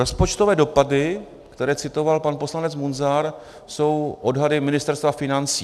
Rozpočtové dopady, které citoval pan poslanec Munzar, jsou odhadem Ministerstva financí.